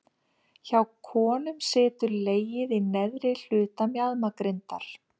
Hjá konum situr legið í neðri hluta mjaðmagrindar.